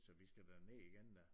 Så vi skal derned igen da